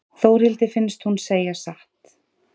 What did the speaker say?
Þórhildi finnst hún segja satt.